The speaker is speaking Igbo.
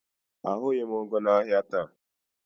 Ahụghị m ụgụ n'ahịa taata.